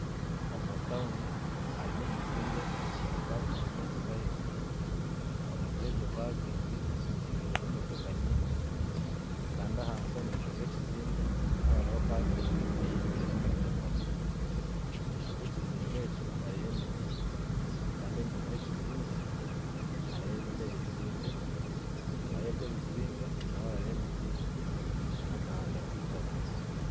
Omutawuni harimu ekizimbe ekiine pakingi eyemotoka ahaiguru omuri egyo pakingi hijwiremu emotoka nyingi kandi ahansi omumaisho gekizimbe naho hariho pakingi eijwiremu emotoka omumaisho gekizimbe ekyo hariyo emiti kandi enyima yekizimbe hariyo ebindi ebizimbe enyima yebyo ebizimbe naho hariyo emiti nakahanda akaitaka